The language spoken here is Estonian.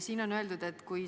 Siin on öeldud: "...